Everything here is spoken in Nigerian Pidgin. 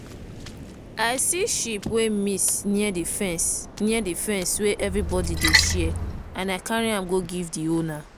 i see sheep wey miss near the fence near the fence wey everyone dey share and i carry am go give the owner.